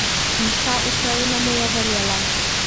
In vsa Ukrajina mu je verjela.